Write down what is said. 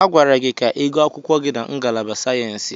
Agwara gị ka ịgụọ akwụkwọ gị na ngalaba sayensị!